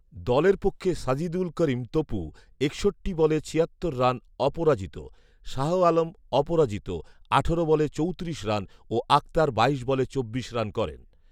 দলের পক্ষে সাজিদুল করিম তপু একষট্টি বলে ছিয়াত্তর রান অপরাজিত, শাহ আলম অপরাজিত আঠারো বলে চৌত্রিশ রান ও আক্তার বাইশ বলে চব্বিশ রান করেন